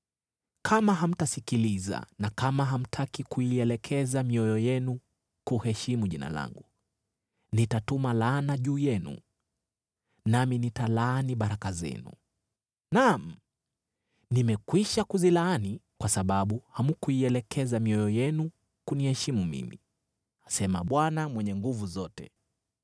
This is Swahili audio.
Kama hamtasikiliza, na kama hamtaki kuielekeza mioyo yenu kuheshimu Jina langu, nitatuma laana juu yenu, nami nitalaani baraka zenu. Naam, nimekwisha kuzilaani, kwa sababu hamkuielekeza mioyo yenu kuniheshimu mimi,” Asema Bwana Mwenye Nguvu Zote.